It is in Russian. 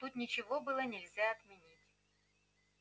тут ничего было нельзя отменить